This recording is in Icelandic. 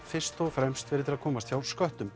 fyrst og fremst til að komast hjá sköttum